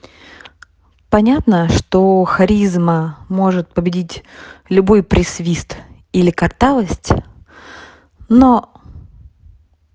понятно что харизма может победить любой при свист или картавость но